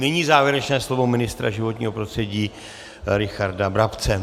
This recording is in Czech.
Nyní závěrečné slovo ministra životního prostředí Richarda Brabce.